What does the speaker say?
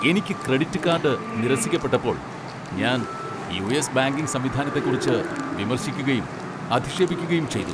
എനിക്ക് credit card നിരസിക്കപ്പെട്ടപ്പോൾ ഞാൻ യു.എസ്. ബാങ്കിംഗ് സംവിധാനത്തെക്കുറിച്ച് വിമർശിക്കുകയും അധിക്ഷേപിക്കുകയും ചെയ്തു.